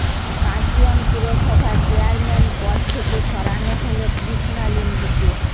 কার্শিয়ং পুরসভার চেয়ারম্যান পদ থেকে সরানো হল কৃষ্ণা লিম্বুকে